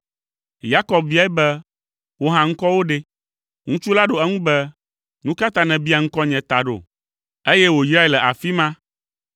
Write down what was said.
Yakob biae be, “Wò hã ŋkɔwò ɖe?” Ŋutsu la ɖo eŋu be, “Nu ka ta nèbia ŋkɔnye ta ɖo.” Eye wòyrae le afi ma.